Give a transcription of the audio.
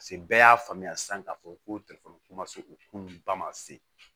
Paseke bɛɛ y'a faamuya san k'a fɔ ko ko ma se u k'olu ba ma se